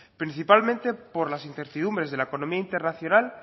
principalmente por las incertidumbres de la economía internacional